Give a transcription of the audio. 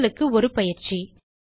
உங்களுக்கு ஒரு பயிற்சி